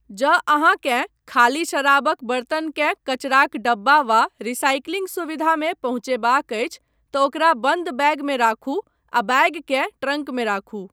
जँ अहाँकेँ खाली शराबक बर्तनकेँ कचराक डब्बा वा रिसाइकिलिंग सुविधामे पहुँचयबाक अछि, तँ ओकरा बन्द बैगमे राखू आ बैगकेँ ट्रंकमे राखू।